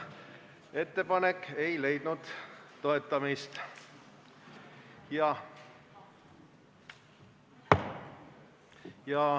Ettepanek ei leidnud toetust.